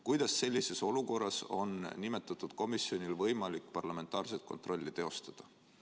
Kuidas sellises olukorras on nimetatud komisjonil võimalik parlamentaarset kontrolli teostada?